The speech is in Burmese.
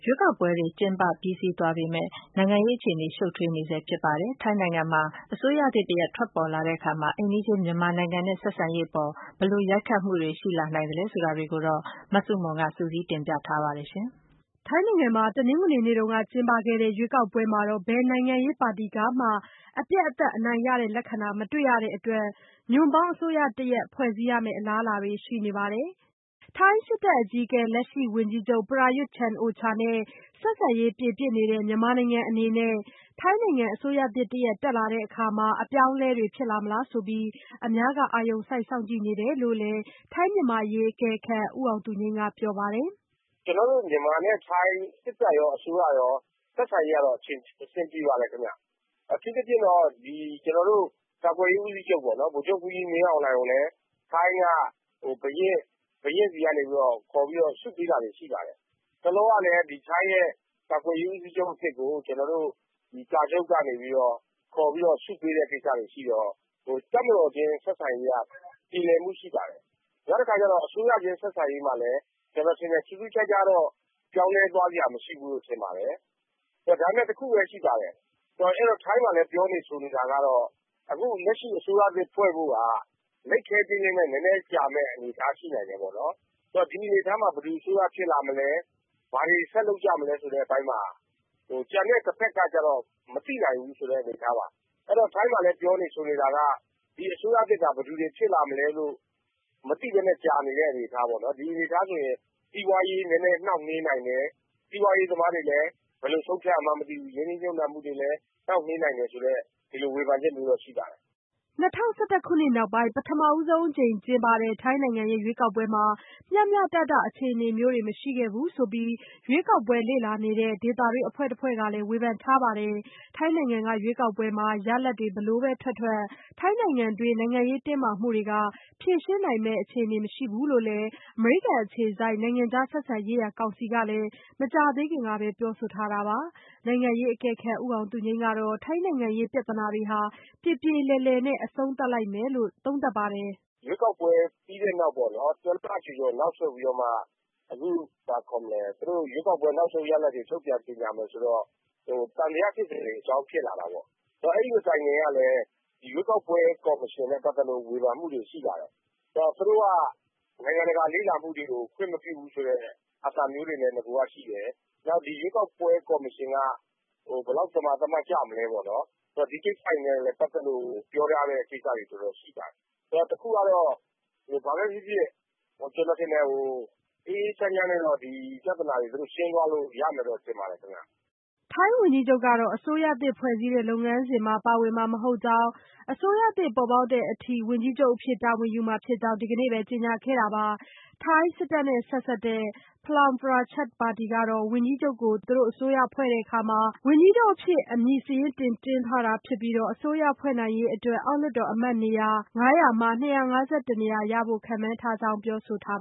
ွေးကောက်ပွဲတွေ ကျင်းပပြီးစီးသွားပေမဲ့ နိုင်ငံရေး အခြေအနေတွေ ရှုပ်ထွေးနေဆဲ ဖြစ်ပါတယ်။ ထိုင်းနိုင်ငံမှာ အစိုးရသစ်တရပ် ထွက်ပေါ်လာတဲ့အခါ အိမ်နီးချင်း မြန်မာနိုင်ငံ နဲ့ ဆက်ဆံရေးအပေါ် ဘယ်လိုရိုက်ခတ်မှုတွေ ရှိလာနိုင်သလဲ ဆိုတာတွေကိုတော့ မဆုမွန်က စုစည်းတင်ပြထားပါတယ်။ ထိုင်းနိုင်ငံမှာ တနင်္ဂနွေနေ့တုန်းက ကျင်းပတဲ့ ရွေးကောက်ပွဲမှာ ဘယ်နိုင်ငံရေး ပါတီမှ အပြတ်အသတ် အနိုင်ရတဲ့ လက္ခဏာ မတွေ့ရတဲ့အတွက် ညွန့်ပေါင်းအစိုးရတရပ် ဖွဲ့စည်းရမယ့် အလားအလာတွေ ရှိနေပါတယ်။ ထိုင်းစစ်တပ်အကြီးအကဲ လက်ရှိ ဝန်ကြီးချုပ် Prayuth Chan-ocha နဲ့ ဆက်ဆံရေး ပြေပြစ်နေတဲ့ မြန်မာနိုင်ငံ အနေနဲ့ ထိုင်းနိုင်ငံ အစိုးရသစ်တရပ် တက်လာတဲ့အခါ အပြောင်းအလဲတွေ ဖြစ်လာမလားဆိုပြီး အများက အာရုံစိုက်စောင့်ကြည့်နေတယ်လို့ လည်း ထိုင်း-မြန်မာအရေး အကဲခတ် ဦးအောင်သူငြိမ်း ကပြောပါတယ်။ “ကျနော်တို့ မြန်မာနဲ့ထိုင်း စစ်တပ်ရော အစိုးရရော ဆက်ဆံရေးကတော့ အဆင်ပြေ ပါတယ်။ အထူးသဖြင့်တော့ ကျနော်တို့ ကာကွယ်ရေးဦးစီးချုပ်ပေါ့နော် ဗိုလ်ချုပ်မှူးကြီး မင်းအောင်လှိုင်ကိုလည်း ထိုင်းက ဘုရင့်ဆီကနေပြီးတော့ ခေါ်ပြီးတော့ ဆုပေးတာတွေ ရှိပါတယ်။ တလောကလည်း ထိုင်းရဲ့ ကာကွယ်ရေးဦးစီးချုပ်အသစ်ကို ကျနော်တို့ ကာချုပ် ကနေပြီးတော့ ခေါ်ပြီးတော့ ဆုပေးတာ တွေရှိတော့ တပ်မတော်ချင်း ဆက်ဆံရေး ကတော့ ပြေလည်မှုရှိပါတယ်။ နောက်တခါကျတော့ အစိုးရချင်း ဆက်ဆံရေးမှာလည်း ကျနော် ထင်တယ် ထူးထူးခြားခြားတော့ ပြောင်းလဲသွားစရာ မရှိဘူးလို့ ထင်ပါတယ်။ ဒါပေမယ့် တခုပဲ ရှိပါတယ် ထိုင်းကလည်း ပြောနေဆိုနေတာဆိုတော့ အခု လက်ရှိအစိုးရ အသစ်ဖွဲ့ဖို့က လိပ်ခဲတည်းလည်းနဲ့ နည်းနည်းကြာမယ့် အနေအထား ရှိနိုင်တယ်ပေါ့နော်။ ဆိုတော့ ဒီအနေအထားမှာ ဘယ်သူအစိုးရဖြစ်လာမလဲ ၊ ဘာတွေ ဆက်လုပ်ကြမလဲ ဆိုတဲ့အပိုင်းမှာ ကျန်တဲ့ တဖက်ကတော့ မသိနိုင်ဘူးဆိုတဲ့ အနေအထားပါ။ ဆိုတော့ ထိုင်းမှာ ပြောနေဆိုနေတာက ဒီအစိုးရသစ်က ဘယ်သူတွေဖြစ်လာမလဲလို့ မသိပဲနဲ့ ကြာနေတဲ့ အနေအထားပေါ့နော်။ ဒီအနေအထားဆိုရင် စီးပွားရေး နည်းနည်းနှောင့်နှေးနိုင်တယ် စီးပွားရေးသမားတွေလည်း ဘယ်လိုဆုံးဖြတ်ရမှန်းမသိဘူး ရင်းနှီးမြှုပ်နှံမှုတွေလည်း နှောင့်နှေးနိုင်တယ်ဆိုတဲ့ ဒီလိုဝေဖန်ချက်မျိုးတွေရှိပါတယ်။” ၂၀၁၁ ခုနှစ်နောက်ပိုင်း ပထမဆုံးအကြိမ် ကျင်းပခဲ့တဲ့ ရွေးကောက်ပွဲမှာ မျှမျှတတ အခြေအနေမျိုးတွေ မရှိခဲ့ဖူးဆိုပြီး ရွေးကောက်ပွဲ လေ့လာတဲ့ ဒေသတွင်း အဖွဲ့တဖွဲ့ ကလည်း ဝေဖန်ထားပါတယ်။ ထိုင်းနိုင်ငံက ရွေးကောက်ပွဲမှာ ရလဒ် ဘယ်လိုပဲ ထွက်ထွက် ထိုင်းနိုင်ငံတွင်း နိုင်ငံရေး တင်းမာမှုတွေကို ဖြေရှင်းနိုင်မယ့်ပုံ မရှိဘူးလို့လည်း အမေရိကန်အခြေစိုက် နိုင်ငံခြား ဆက်ဆံရေးရာ ကောင်စီ ကလည်း မကြာသေးခင်ကပဲ ပြောဆိုထားတာပါ။ နိုင်ငံရေးအကဲခတ် ဦးအောင်သူငြိမ်း ကတော့ ထိုင်းနိုင်ငံရေး ပြဿနာတွေဟာ ပြေပြေလည်လည်နဲ့ အဆုံးသတ်လိမ့်မယ်လို့ သုံးသပ်ပါတယ်။ “ရွေးကောက်ပွဲ ပြီးတဲ့နောက်ပေါ့နော် ၁လကျော်ကျော်နောက်ဆုတ်ပြီးတော့မှ အခုရွေးကောက်ပွဲ နောက်ဆုံးရလဒ်တွေ ထုတ်ပြန်ကြေညာမယ်ဆိုတော့ သံသယဖြစ်စရာ အကြောင်းတွေ ဖြစ်လာတာပေါ့။ ဆိုတော့ အဲဒီမတိုင်ခင်ကလည်း ရွေးကောက်ပွဲ ကော်မရှင်နဲ့ ပတ်သက်လို့ ဝေဖန်မှုတွေရှိတယ်။ ဆိုတော့ သူတို့က နိုင်ငံတကာလေ့လာ မှုတွေကိုလည်း ခွင့်မပြုဘူးဆိုတဲ့ အသံမျိုးတွေလည်း နဂိုက ရှိတယ် ။ နောက်ရွေးကောက်ပွဲ ကော်မရှင်က ဘယ်လောက် သမာသမတ်ကျမလဲပေ့ါနော် ။ ဒါတွေနဲ့လည်း ပတ်သက်လို့ ပြောထားတာတွေလည်းရှိတယ်။ ဆိုတော့ တခုကတော့ ဘာပဲဖြစ်ဖြစ် ကျနော်ထင်တယ် အေးအေးချမ်းချမ်းနဲ့တော့ ဒီပြဿနာတွေ ရှင်းသွားလို့ရမယ် လို့ ထင်ပါတယ်။” ထိုင်းဝန်ကြီးချုပ်ကတော့ အစိုးရသစ်ဖွဲ့စည်းတဲ့ လုပ်ငန်းစဉ်မှာ ပါဝင်မှာမဟုတ်ကြောင်းနဲ့ အစိုးရသစ်ပေါ်ပေါက်တဲ့အထိ တာဝန်ယူမှာဖြစ်ကြောင်း ဒီနေ့ပဲ ကြေညာခဲ့တာပါ။ စစ်တပ်နဲ့ ဆက်စပ်တဲ့ Phalang Pracharat ပါတီကတော့ ဝန်ကြီးချုပ်ကို သူတို့ အစိုးရဖွဲ့တဲ့ အခါ ဝန်ကြီးချုပ်အဖြစ် အမည်စာရင်းတင်ထားတာဖြစ်ပြီး အစိုးရဖွဲ့နိုင်ရေးအတွက် အောက်လွှတ်တော်အမတ်နေရာ ၅၀၀ မှာ ၂၅၁ နေရာရဖို့ ခန့်မှန်းထားကြောင်း ပြောဆိုထား